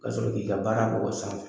Ka sɔrɔ k'i ka baara k'o san fɛ.